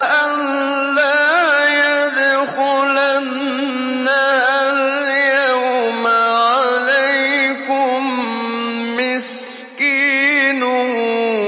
أَن لَّا يَدْخُلَنَّهَا الْيَوْمَ عَلَيْكُم مِّسْكِينٌ